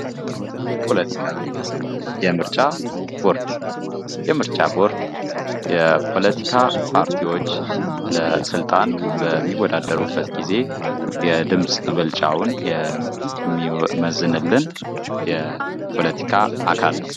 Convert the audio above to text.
ፖለቲካ የምርጫ ቦርድ የምርጫ ቦርድ የፖለቲካ ፓርቲዎች ለስልጣን በሚወዳደሩበት ጊዜ የድምጽ ብጫውን የሚመዘልን የፖለቲካ ፓርቲ አካል ነው።